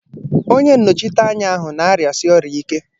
Onye nnọchiteanya ahụ na-arịasi ọrịa ike.